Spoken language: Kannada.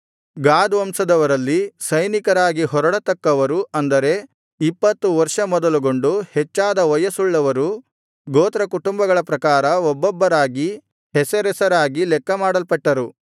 ಗಾದ್ ವಂಶದವರಲ್ಲಿ ಸೈನಿಕರಾಗಿ ಹೊರಡತಕ್ಕವರು ಅಂದರೆ ಇಪ್ಪತ್ತು ವರ್ಷ ಮೊದಲುಗೊಂಡು ಹೆಚ್ಚಾದ ವಯಸ್ಸುಳ್ಳವರು ಗೋತ್ರಕುಟುಂಬಗಳ ಪ್ರಕಾರ ಒಬ್ಬೊಬ್ಬರಾಗಿ ಹೆಸರೆಸರಾಗಿ ಲೆಕ್ಕಮಾಡಲ್ಪಟ್ಟರು